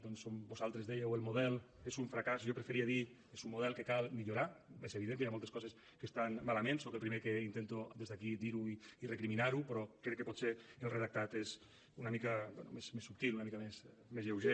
doncs on vosaltres dèieu el model és un fracàs jo preferiria dir és un model que cal millorar és evident que hi ha moltes coses que estan malament soc el primer que intento des d’aquí dir ho i recriminar ho però crec que potser el redactat és una mica bé més subtil una mica més lleuger